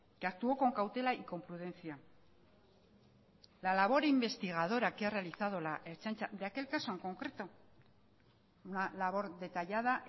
que actuó con cautela y con prudencia la labor investigadora que ha realizado la ertzaintza de aquel caso en concreto una labor detallada